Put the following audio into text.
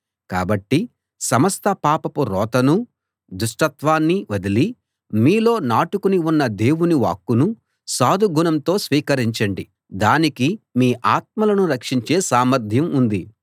కాబట్టి సమస్త పాపపు రోతనూ దుష్టత్వాన్నీ వదిలి మీలో నాటుకుని ఉన్న దేవుని వాక్కును సాధు గుణంతో స్వీకరించండి దానికి మీ ఆత్మలను రక్షించే సామర్ధ్యం ఉంది